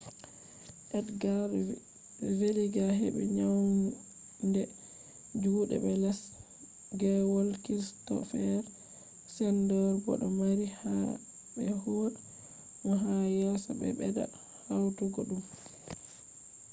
edgar veguilla hebi naunande jude be les gwole kristoffer schneider bo do mari haje be huwa mo ha yeso be bedda hautugo dum